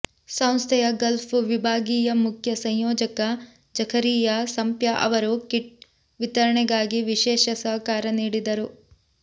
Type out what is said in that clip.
ಸಂಸ್ಥೆಯ ಗಲ್ಫ್ ವಿಭಾಗೀಯ ಮುಖ್ಯ ಸಂಯೋಜಕ ಝಕರಿಯಾ ಸಂಪ್ಯ ಅವರು ಕಿಟ್ ವಿತರಣೆಗಾಗಿ ವಿಶೇಷ ಸಹಕಾರ ನೀಡಿದರು